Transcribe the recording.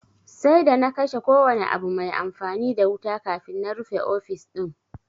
Sai d ana kashe kowane abu mai amfani da wuta kafin na rufe ofis din